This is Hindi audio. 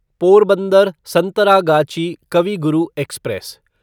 पोरबंदर संतरागाची कवि गुरु एक्सप्रेस